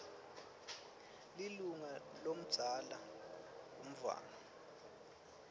lilunga lomdzala umntfwana